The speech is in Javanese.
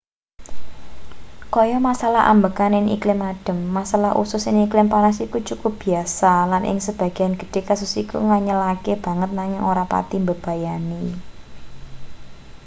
kaya masalah ambegan ing iklim adhem masalah usus ing iklim panas iku cukup biasa lan ing sebagean gedhe kasus iku nganyelake banget nanging ora pati mbebayani